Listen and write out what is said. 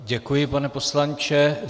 Děkuji, pane poslanče.